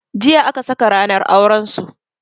Jiya aka saka ranar auran su.